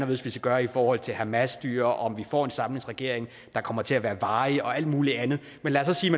vi skal gøre i forhold til hamasstyret og om vi får en samlingsregering der kommer til at være varig og alt muligt andet men lad os